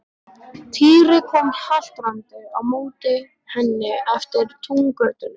Týri kom haltrandi á móti henni eftir túngötunni.